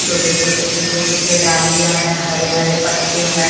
छोटे-छोटे सूखे-सूखे डालियाँ हैं हरे-हरे पत्ते हैं।